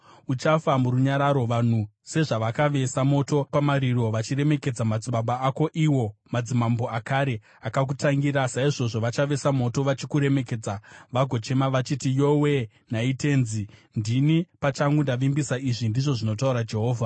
uchafa murunyararo. Vanhu sezvavakavesa moto pamariro vachiremekedza madzibaba ako, iwo madzimambo akare akakutangira, saizvozvo vachavesa moto vachikuremekedza vagochema vachiti, “Yowe-e, nhai tenzi!” Ndini pachangu ndavimbisa izvi, ndizvo zvinotaura Jehovha.’ ”